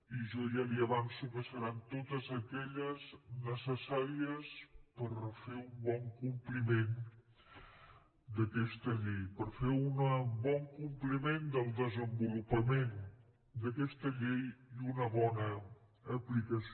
i jo ja li avanço que seran totes aquelles necessàries per fer un bon compliment d’aquesta llei per fer un bon compliment del desenvolupament d’aquesta llei i una bona aplicació